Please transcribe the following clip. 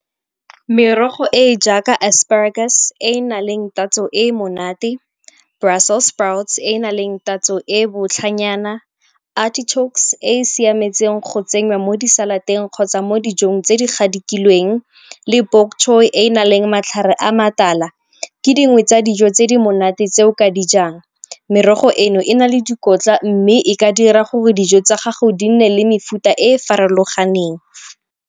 Merogo e e jaaka asparagus e e na leng tatso e e monate, brussels sprout e e na leng tatso e e botlha nyana, artichokes e e siametseng go tsenyiwa mo di-salad-teng kgotsa mo dijong tse di gadikilweng le e e na leng matlhare a matala, ke dingwe tsa dijo tse di monate tseo ka dijang. Merogo eno e na le dikotla mme e ka dira gore dijo tsa gago di nne le mefuta e farologaneng.